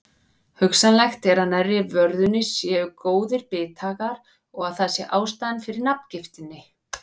Hugsanlegt er að nærri vörðunni séu góðir bithagar og að það sé ástæðan fyrir nafngiftinni.